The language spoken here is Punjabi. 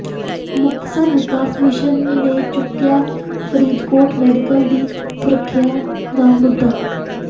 ਮੁਕਤਸਰ ਵਿਕਾਸ ਮਿਸ਼ਨ ਨੇ ਚੁੱਕਿਆ ਫਰੀਦਕੋਟ ਮੈਡੀਕਲ ਦੀ ਸੁਰੱਖਿਆ ਦਾ ਮੁੱਦਾ